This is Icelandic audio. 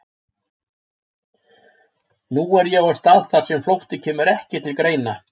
Nú er ég á stað þar sem flótti kemur ekki til greina.